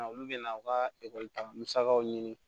Na olu bɛna aw ka ekɔli ta musakaw ɲini